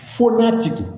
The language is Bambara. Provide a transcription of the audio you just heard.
Fo n'a tigi